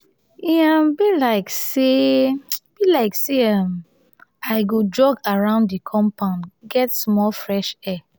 e um be like sey be like sey um i go jog around di compound get some fresh air.